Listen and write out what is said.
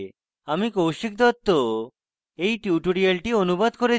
আমি কৌশিক দত্ত এই টিউটোরিয়ালটি অনুবাদ করেছি